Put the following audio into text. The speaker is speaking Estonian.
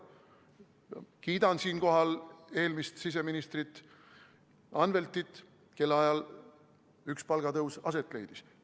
Kiidan siinkohal eelmist siseministrit Anveltit, kelle ajal üks palgatõus aset leidis.